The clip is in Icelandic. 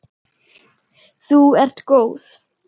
Þú ert góð!